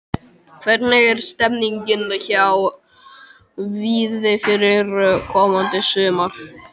Hvernig er stemningin hjá Víði fyrir komandi sumar?